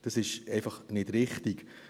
Das ist einfach nicht richtig.